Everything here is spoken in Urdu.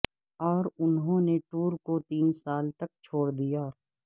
اور انہوں نے ٹور کو تین سال تک چھوڑ دیا